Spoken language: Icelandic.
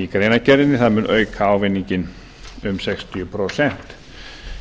í greinargerðinni það mun auka ávinninginn um sextíu prósent